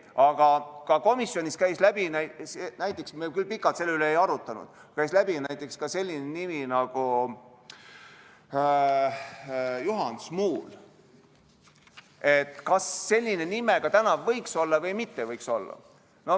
Aga ka komisjonist käis läbi selline nimi nagu Juhan Smuul: kas tema nimega tänav võiks olla või ei võiks olla.